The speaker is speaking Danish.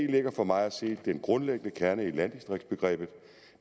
ligger for mig at se den grundlæggende kerne i landdistriktsbegrebet